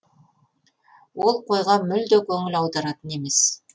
ол қойға мүлде көңіл аударатын емес